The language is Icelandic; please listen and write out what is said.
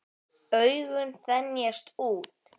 Augun þenjast út.